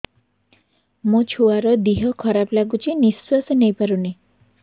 ମୋ ଛୁଆର ଦିହ ଖରାପ ଲାଗୁଚି ନିଃଶ୍ବାସ ନେଇ ପାରୁନି